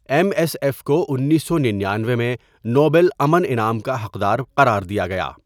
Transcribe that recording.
M S F کو۱۹۹۹ میں Nobel امن انعام کا حقدار قرار دیا گیا.